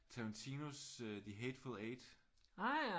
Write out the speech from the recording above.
Tarantinos The Hateful Eight